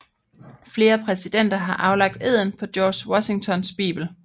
Flere præsidenter har aflagt eden på George Washingtons bibel